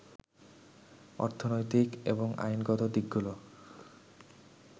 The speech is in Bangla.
অর্থনৈতিক এবং আইনগত দিকগুলো